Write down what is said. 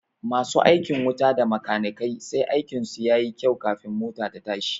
Masu aikin wuta da makanikai sai aikin su yayi kyau kafin mota ta tashi